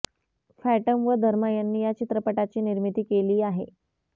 fathom व धर्मा यांनी या चित्रपटाची निर्मिती केली आहे